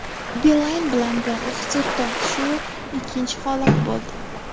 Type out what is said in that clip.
Beeline bilan bog‘liq sud tortishuvi ikkinchi holat bo‘ldi.